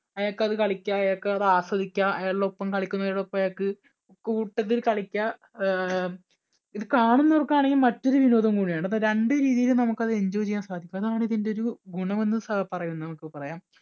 അയാൾക്ക് അത് കളിക്കുക അയാൾക്ക് അത് ആസ്വദിക്കാം അയാളുടെ ഒപ്പം കളിക്കുന്നവരോട് ഒപ്പം അയാൾക്ക് കൂട്ടത്തിൽ കളിക്കാം. ആഹ് ഇത് കാണുന്നവർക്കാണെങ്കിൽ മറ്റൊരു വിനോദം കൂടിയാണ്. രണ്ട് രീതിയിൽ നമുക്ക് അത് enjoy ചെയ്യാൻ സാധിക്കും. അതാണ് ഇതിൻടെ ഒരു ഗുണം എന്ന് സാ പറയുന്നു നമുക്ക് പറയാം